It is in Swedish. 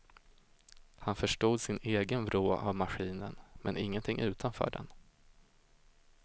Han förstod sin egen vrå av maskinen, men ingenting utanför den.